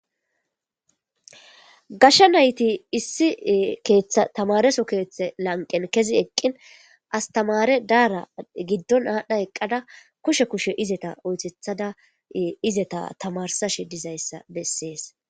gashshe nayti issi keeththa tamareso keeththe lanqen kezi eqqin astamare daara giddon aadhdha eqqada kushe kushe izeta oythethada izeta tamarsashe dizayssa bessees